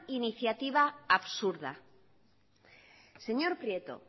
iniciativa absurda señor prieto